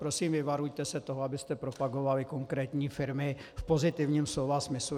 Prosím, vyvarujte se toho, abyste propagovali konkrétní firmy v pozitivním slova smyslu.